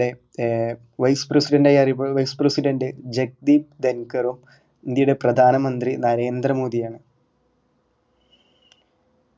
നമ്മുടെ ഏർ vice president അറിയപ്പടുന്നത് vice president ജേകബി ധൻകറും ഇന്ത്യയുടെ പ്രധാന മന്ത്രി നരേന്ദ്ര മോഡി ആണ്